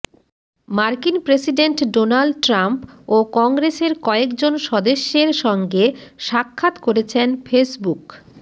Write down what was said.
মার্কিন president Donald Trump ও কংগ্রেসের কয়েকজন সদস্যের সঙ্গে সাক্ষাৎ করেছেন ফেসবুক